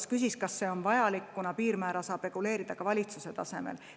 Ta küsis, kas see on vajalik, kuna piirmäära saab reguleerida ka valitsuse tasemel.